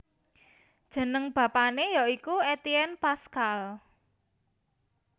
Jeneng bapané ya iku Étienne Pascal